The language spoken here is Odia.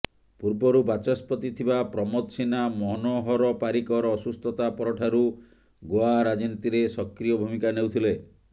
ପୂର୍ବରୁ ବାଚସ୍ପତି ଥିବା ପ୍ରମୋଦ ସିହ୍ନା ମନୋହର ପାରିକର ଅସୁସ୍ଥତା ପରଠାରୁ ଗୋଆ ରାଜନୀତିରେ ସକ୍ରିୟ ଭୂମିକା ନେଉଥିଲେ